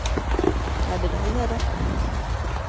ਤਾਂਡੇ ਤੋਂ ਵੀ ਜਿਆਦਾ।